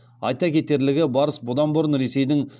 айта кетерлігі барыс бұдан бұрын ресейдің